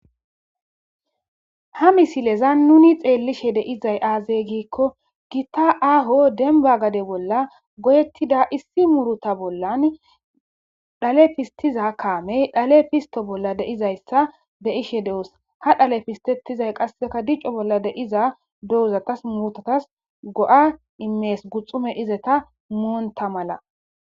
Ha misileza nuni xeellishe deizay aazeygiikko gitta aaho denba gade bolla godettida issi muruta bollan dhale fistiza kaamey dhale fisto bolla deizayssa be ishe de'os ha dhale pistettizay qasseka dicco bolla deiza dohuzatas mutatas go'a imees guxume izeta muonta mala.